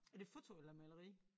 Er det foto eller maleri?